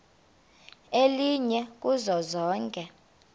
elinye kuzo zonke